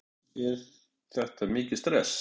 Hugrún: En er þetta mikið stress?